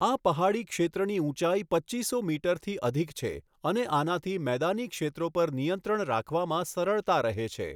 આ પહાડી ક્ષેત્રની ઊંચાઈ પચ્ચીસો મીટરથી અધિક છે અને આનાથી મેદાની ક્ષેત્રો પર નિયંત્રણ રાખવામાં સરળતા રહે છે.